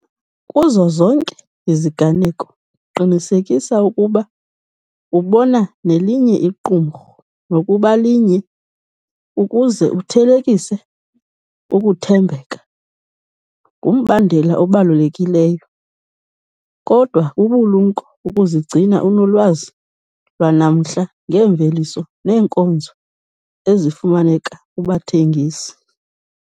Kuzo zonke iziganeko, qinisekisa ukuba ubona nelinye iqumrhu nokuba linye ukuze uthelekise. Ukuthembeka ngumbandela obalulekileyo, kodwa bubulumko ukuzigcina unolwazi lwanamhla ngeemveliso neenkonzo ezifumaneka kubathengisi.